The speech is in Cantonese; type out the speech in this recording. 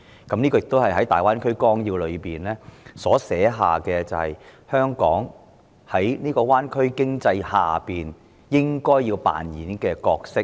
這亦是《粵港澳大灣區發展規劃綱要》描述香港在灣區經濟下應該要擔當的角色。